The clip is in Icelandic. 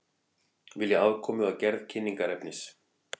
Vilja aðkomu að gerð kynningarefnis